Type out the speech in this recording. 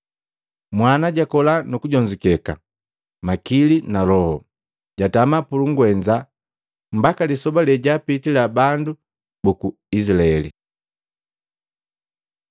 Mwana jakola nu kujonzukeka makili mu loho. Jatama pulugwenza mbaka lisoba lejaapitila bandu buku Izilaeli.